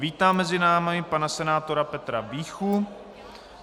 Vítám mezi námi pana senátora Petra Víchu.